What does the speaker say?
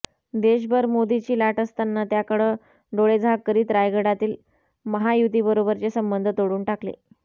देशभर मोदीची लाट असताना त्याकडं डोळेझाक करीत रायगडातील महायुतीबरोबरचे संबंध तोडून टाकले